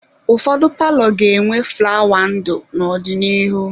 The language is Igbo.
Ụfọdụ palọ ga-enwe flawa ndụ n'ọdịnihu.